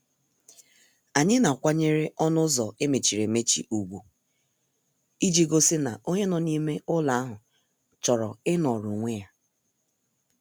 Anyị na- akwanyere ọnụ ụzọ emechiri emechi ugwu iji gosi na onye nọ n' ime ụlọ ahụ chọrọ inoro onwe ya.